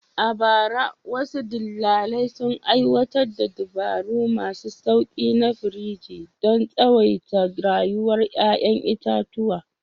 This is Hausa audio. A bara, wasu dillalai sun aiwatar da dabaru masu sauƙi na firiji don tsawaita rayuwar ƴaƴan itatuwa.